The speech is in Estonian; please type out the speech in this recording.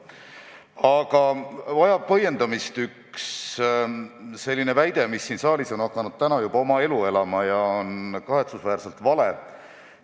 Aga põhjendamist vajab üks väide, mis on täna siin saalis hakanud juba oma elu elama ja on kahetsusväärselt vale.